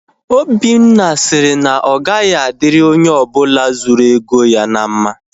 Obinna sịrị na ọ gaghị adịrị onye ọbụla zuru ego ya na mma